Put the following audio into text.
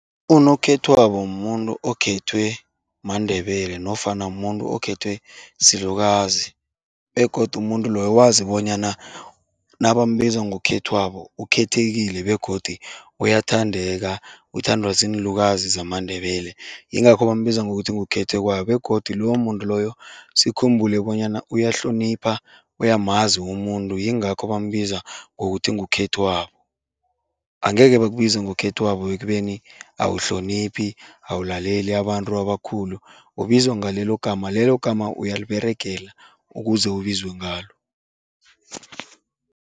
Unokhethwabo muntu okhethwe maNdebele nofana muntu okhethwe silukazi begodu umuntu loyo wazi bonyana nabambiza ngokhethwabo ukhethekile begodu uyathandeka, uthandwa ziinlukazi zamaNdebele, yingakho bambiza ngokuthi kukhethekwayo begodu lowo muntu loyo sikhumbule bonyana uyahlonipha, uyamazi umuntu, yingakho bambiza ngokuthi ngekhethwabo. Angeke bakubize ngokhethwabo ekubeni awuhloniphi, awulaleli abantu abakhulu, ubizwa ngalelo gama, lelo gama uyaliberegela ukuze ubizwe ngalo.